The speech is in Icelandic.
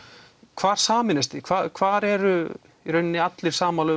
hvar sameinist þið hvar eru í raunina allir sammála